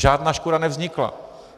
Žádná škoda nevznikla.